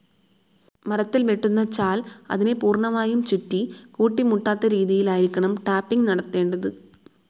മരത്തിൽ വെട്ടുന്ന ചാൽ, അതിനെ പൂർണ്ണമായും ചുറ്റി കൂട്ടിമുട്ടാത്തരീതിയിലായിരിക്കണം ടാപ്പിംഗ്‌ നടത്തേണ്ടത്.